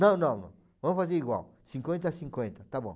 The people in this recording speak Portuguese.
Não, não, não, vamos fazer igual, cinquenta a cinquenta, está bom.